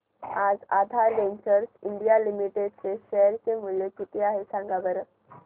आज Aadhaar Ventures India Limited चे share चे मूल्य किती आहे सांगा बरं